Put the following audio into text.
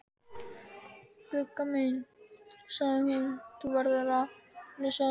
Gugga mín, sagði hún, þú verður að lesa þessa bók!